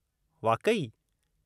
वाक़ई!?